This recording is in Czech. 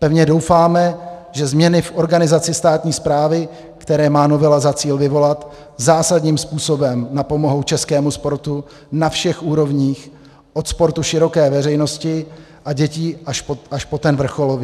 Pevně doufáme, že změny v organizaci státní správy, které má novela za cíl vyvolat, zásadním způsobem napomohou českému sportu na všech úrovních, od sportu široké veřejnosti a dětí až po ten vrcholový.